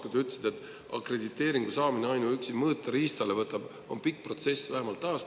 Te ütlesite, et akrediteeringu saamine ainuüksi mõõteriistale on pikk protsess, vähemalt aasta …